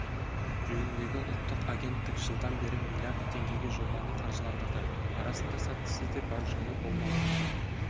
жөніндегі ұлттық агенттік жылдан бері млрд теңгеге жобаны қаржыландырды арасында сәттісі де бар жолы болмаған